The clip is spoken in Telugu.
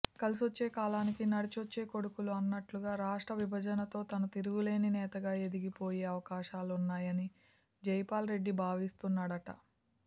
కలిసొచ్చే కాలానికి నడిచొచ్చే కొడుకులు అన్నట్టుగా రాష్ట్ర విభజనతో తాను తిరుగులేని నేతగా ఎదిగిపోయే అవకాశాలున్నాయని జైపాల్ రెడ్డి భావిస్తున్నాడట